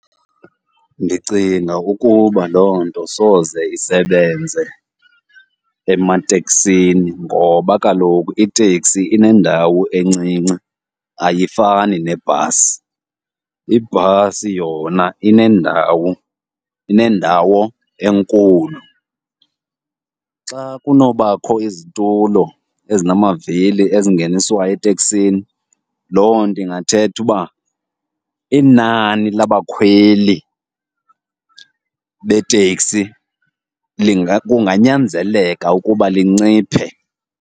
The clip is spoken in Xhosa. Ndicinga ukuba loo nto soze isebenze emateksini ngoba kaloku iteksi inendawo encinci ayifani nebhasi, ibhasi yona inendawo, inendawo enkulu. Xa kunobakho izitulo ezinamavili ezingeniswayo eteksini, loo nto ingathetha uba inani labakhweli beteksi kunganyanzeleka ukuba linciphe.